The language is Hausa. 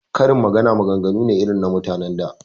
Karin magana maganganu ne irin na mutan da